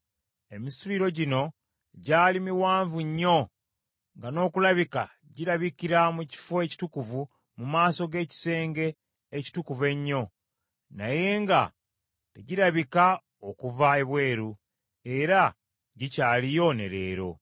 Emisituliro gino gyali miwanvu nnyo nga n’okulabika girabikira mu kifo ekitukuvu mu maaso g’ekisenge ekitukuvu ennyo, naye nga tegirabika okuva ebweru; era gikyaliyo ne leero.